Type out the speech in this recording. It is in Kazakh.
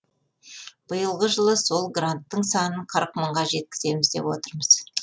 биылғы жылы сол гранттың санын қырық мыңға жеткіземіз деп отырмыз